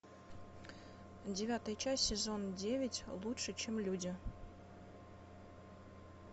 девятая часть сезон девять лучше чем люди